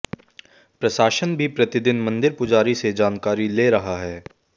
प्रशासन भी प्रतिदिन मंदिर पुजारी से जानकारी ले रहा है